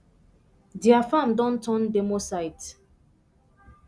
dia farm don turn demo site